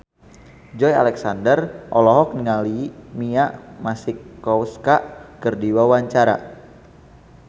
Joey Alexander olohok ningali Mia Masikowska keur diwawancara